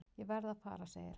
Ég verð að fara segir hann.